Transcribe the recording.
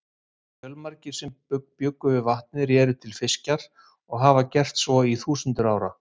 Fjölmargir sem bjuggu við vatnið réru til fiskjar og hafa gert svo í þúsundir ára.